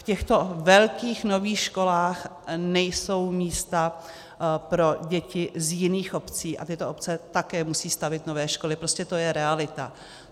V těchto velkých nových školách nejsou místa pro děti z jiných obcí a tyto obce také musí stavět nové školy, prostě to je realita.